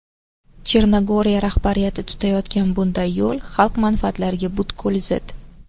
Chernogoriya rahbariyati tutayotgan bunday yo‘l xalq manfaatlariga butkul zid.